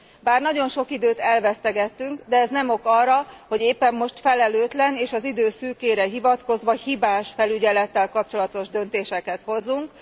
Bár nagyon sok időt elvesztegettünk, de ez nem ok arra, hogy éppen most felelőtlen, és az idő szűkére hivatkozva hibás felügyelettel kapcsolatos döntéseket hozzunk.